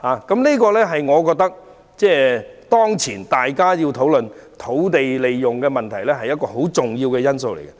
這是當前討論土地運用問題時的一個很重要的因素。